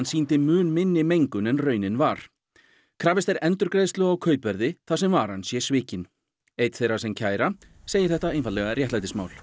sýndi mun minni mengun en raunin var krafist er endurgreiðslu á kaupverði þar sem varan sé svikin einn þeirra sem kæra segir þetta einfaldlega réttlætismál